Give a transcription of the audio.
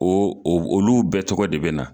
Ɔ olu bɛɛ tɔgɔ de bɛ na